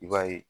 I b'a ye